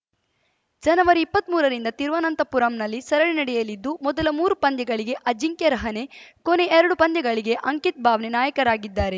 ಜನವರಿಇಪ್ಪತ್ಮೂರರಿಂದ ತಿರುವನಂತಪುರಂನಲ್ಲಿ ಸರಣಿ ನಡೆಯಲಿದ್ದು ಮೊದಲ ಮೂರು ಪಂದ್ಯಗಳಿಗೆ ಅಜಿಂಕ್ಯ ರಹಾನೆ ಕೊನೆ ಎರಡು ಪಂದ್ಯಗಳಿಗೆ ಅಂಕಿತ್‌ ಬಾವ್ನೆ ನಾಯಕರಾಗಿದ್ದಾರೆ